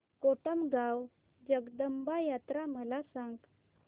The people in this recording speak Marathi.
कोटमगाव जगदंबा यात्रा मला सांग